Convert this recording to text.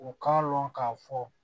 U k'a dɔn k'a fɔ